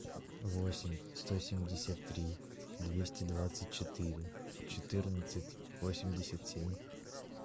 восемь сто семьдесят три двести двадцать четыре четырнадцать восемьдесят семь